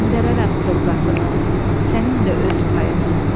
göndərərəm sovqatını, sənin də öz payını.